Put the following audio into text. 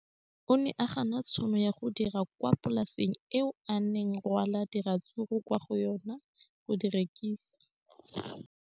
O ne a gana tšhono ya go dira kwa polaseng eo a neng rwala diratsuru kwa go yona go di rekisa.